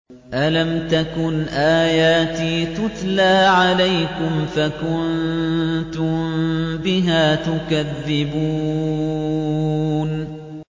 أَلَمْ تَكُنْ آيَاتِي تُتْلَىٰ عَلَيْكُمْ فَكُنتُم بِهَا تُكَذِّبُونَ